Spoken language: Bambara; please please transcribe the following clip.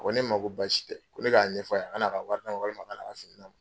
A ko ne ma Ko basi tɛ ,ko ne ka ɲɛfɔ a ye a ka na a ka wari minɛ walima a ka na ka fini minɛ .